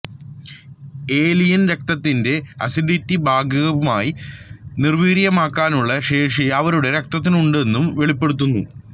alien രക്തത്തിന്റെ acidity ഭാഗികമായി നിർവീര്യമാക്കാനുള്ള ശേഷി അവരുടെ രക്തത്തിനുണ്ടെന്നും വെളിപ്പെടുത്തുന്നു